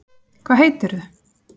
Hvað heitirðu?